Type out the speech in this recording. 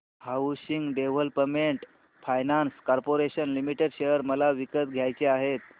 housing development finance corporation limited share मला विकत घ्यायचे आहेत